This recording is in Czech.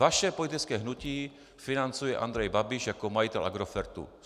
Vaše politické hnutí financuje Andrej Babiš jako majitel Agrofertu.